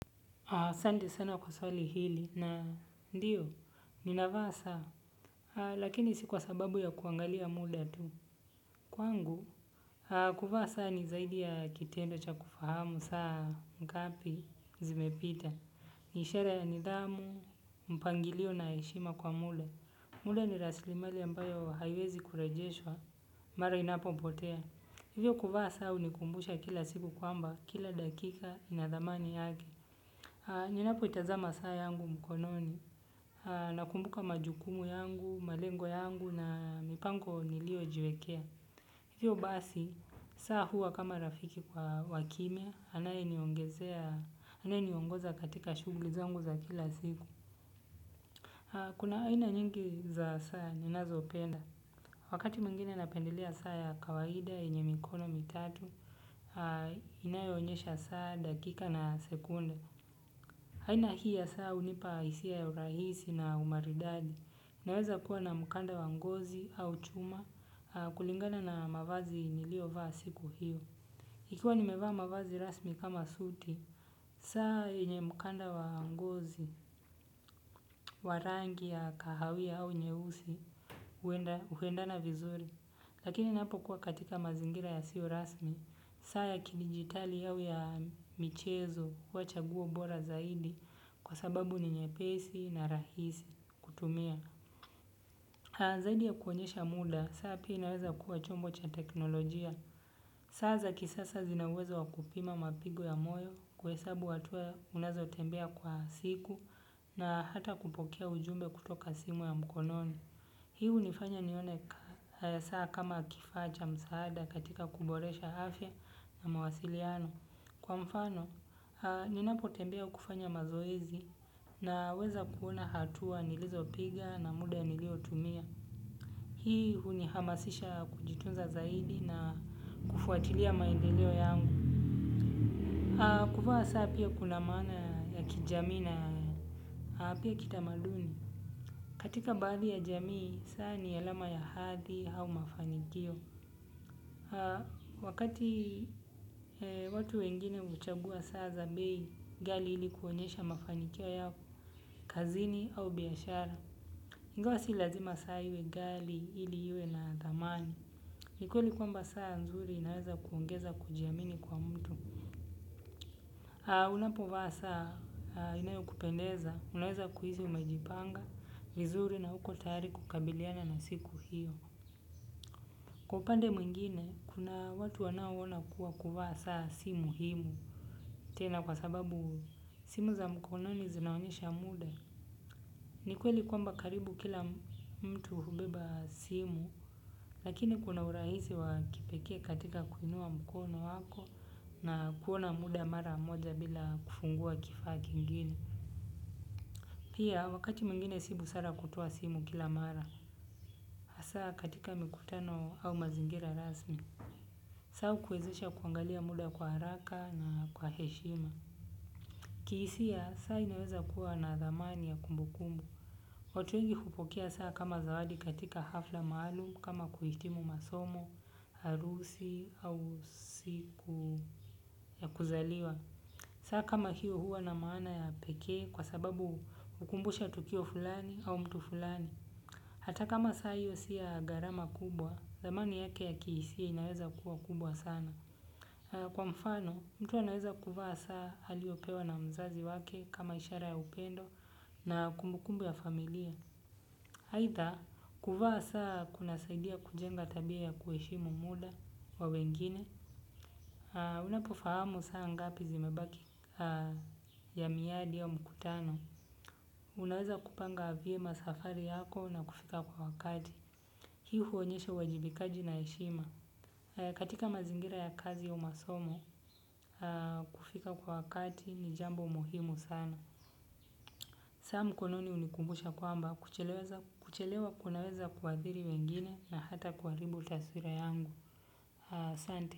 Asanti sana kwa swali hili na ndio, ninavaa saa, lakini si kwa sababu ya kuangalia muda tu. Kwangu, kuvaa saa ni zaidi ya kitendo cha kufahamu saa ngapi zimepita. Ni ishara ya nidhamu, mpangilio na heshima kwa muda. Mulda ni raslimali ambayo haiwezi kurejeshwa, mara inapopotea. Hivyo kuvaa saa hunikumbusha kila siku kwamba, kila dakika inadhamani yake. Ninapo itazama saa yangu mkononi na kumbuka majukumu yangu, malengo yangu na mipango nilioyojiwekea. Hivyo basi, saa huwa kama rafiki kwa wa kimya, anaye niongezea, anaye niongoza katika shughuli zangu za kila siku. Kuna aina nyingi za saa ninazo penda. Wakati mwingine napendelea saa ya kawaida yenye mikono mitatu, inayoonyesha saa dakika na sekunde. Rahisi na umaridadi. Inaweza kuwa na mkanda wa ngozi au chuma kulingana na mavazi niliyo vaa siku hiyo ikiwa nimevaa mavazi rasmi kama suti saa yenye mkanda wa ngozi wa rangi ya kahawia au nyeusi huendana vizuri. Lakini napo kuwa katika mazingira yasio rasmi, saa ya kidigitali au ya michezo huwa chaguo bora zaidi kwa sababu ni nyepesi na rahisi kutumia. Zaidi ya kuonyesha muda, saa pia inaweza kuwa chombo cha teknolojia. Saa za kisasa zinauweza wakupima mapigo ya moyo kuhesabu hatua unazo tembea kwa siku na hata kupokea ujumbe kutoka simu ya mkononi. Hii hunifanya nione kaa saa kama kifaa cha msaada katika kuboresha afya na mawasiliano. Kwa mfano, ninapo tembea kufanya mazoezi naweza kuona hatua nilizopiga na muda niliotumia. Hii hunihamasisha kujitunza zaidi na kufuatilia maendeleo yangu. Kuvaa saa pia kuna maana ya kijamii na pia kitamaduni. Katika baadhi ya jamii, saa ni alama ya hadhi au mafanikio. Wakati watu wengine huchagua saa za bei, ghali ili kuonyesha mafanikio yao, kazini au biashara. Ingawa si lazima saa iwe ghali ili iwe na dhamani. Ni kweli kwamba saa nzuri inaweza kuongeza kujiamini kwa mtu. Unapovaa saa inayokupendeza, unaweza kuhisi umejipanga, vizuri na uko tayari kukabiliana na siku hiyo. Kwa upande mwingine kuna watu wanaoona kuwa kuvaa saa si muhimu tena kwa sababu simu za mkononi zinaonyesha muda ni kweli kwamba karibu kila mtu hubeba simu lakini kuna urahisi wa kipekee katika kuinua mkono wako na kuona muda mara moja bila kufungua kifaa kingine. Pia wakati mwingine si busara kutoa simu kila mara. Hasa katika mikutano au mazingira rasmi. Saa hukuwezesha kuangalia muda kwa haraka na kwa heshima. Kihisia, saa inaweza kuwa na dhamani ya kumbu kumbu. Watu wengi hupokea saa kama zawadi katika hafla maalum kama kuhitimu masomo, harusi au siku ya kuzaliwa. Saa kama hiyo huwa na maana ya pekee kwa sababu hukumbusha tukio fulani au mtu fulani. Hata kama saa hiyo si ya gharama kubwa, dhamani yake ya kihisia inaweza kuwa kubwa sana. Kwa mfano, mtu anaweza kuvaa saa aliyopewa na mzazi wake kama ishara ya upendo na kumbukumbu ya familia. Aidha, kuvaa saa kunasaidia kujenga tabia ya kueshimu muda wa wengine. Unapofahamu saa ngapi zimebaki ya miadi ya mkutano unaweza kupanga vyema safari yako na kufika kwa wakati. Hii huonyesha uwajibikaji na heshima. Katika mazingira ya kazi au masomo kufika kwa wakati ni jambo muhimu sana. Saa mkononi hunikumbusha kwamba kuchelewa kunaweza kuadhiri wengine na hata kuharibu taswira yangu asante.